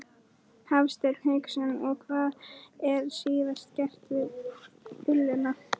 Hafsteinn Hauksson: Og hvað er síðan gert við ullina?